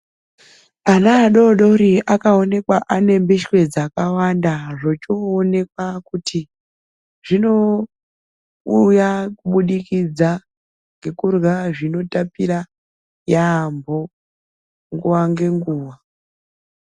Ana adodori akawoneka anembishwe dzakawanda zvochoonekwa kuti zvinouya kubudikidza ngekurla zvinotapira yambo nguwa ngenguwa